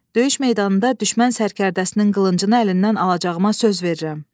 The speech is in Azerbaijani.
Döyüş meydanında düşmən sərkərdəsinin qılıncını əlindən alacağıma söz verirəm.